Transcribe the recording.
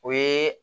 O ye